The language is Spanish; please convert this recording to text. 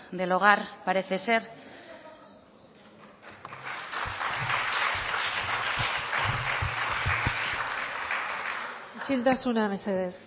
del hogar parece ser isiltasuna mesedez